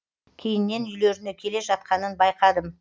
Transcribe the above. кейіннен үйлеріне келе жатқанын байқадым